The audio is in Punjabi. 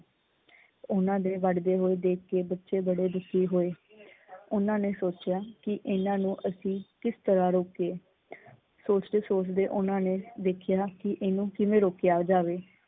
ਉਹਨਾਂ ਦੇ ਵੜਦੇ ਹੋਏ ਦੇਖਕੇ ਬੱਚੇ ਬੜੇ ਦੁੱਖੀ ਹੋਏ। ਓਹਨਾਂ ਨੇ ਸੋਚਿਆ ਕੀ ਏਹਨਾ ਨੂੰ ਅਸੀਂ ਕਿਸ ਤਰਾਂ ਰੋਕੀਏ? ਸੋਚਦੇ ਸੋਚਦੇ ਓਹਨਾਂ ਨੇ ਵੇਖਿਆ ਕੀ ਇਹਨੂੰ ਕਿਵੇਂ ਰੋਕਿਆ ਜਾਵੇ?